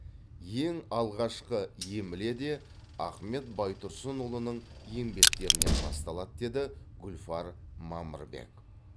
ең алғашқы емле де ахмет байтұрсынұлының еңбектерінен басталады деді гүлфар мамырбек